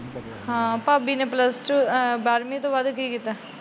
ਹਾਂ ਭਾਬੀ ਨੇ ਪਲੱਸ ਟੁ ਬਾਰਵੀ ਤੋਂ ਬਾਅਦ ਕੀ ਕੀਤਾ?